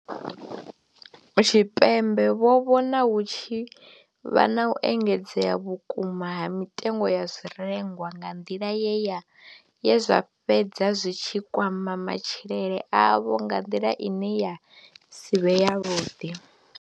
Tshipembe vho vhona hu tshi vha na u engedzea vhukuma ha mitengo ya zwirengwa nga nḓila ye zwa fhedza zwi tshi kwama matshilele avho nga nḓila ine ya si vhe yavhuḓi.